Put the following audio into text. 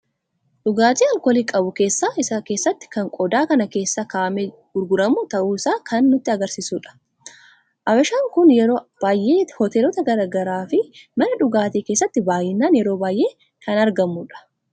Dhugaatiin alkoolii qabu keessa isa keessatti kan qodaa kana keessa kaa'amee gurguramu ta'u isaa kan nutti argamsiisuudha. abashaan kun yeroo baay'ee hoteelota garagaraa fi mana dhugaatii keessatti baay'inaan yeroo baay'ee kan argamudha.